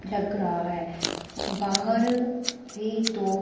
लग रहा है बाहर भी दो--